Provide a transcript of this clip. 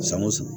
San o san